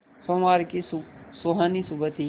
सोमवार की सुहानी सुबह थी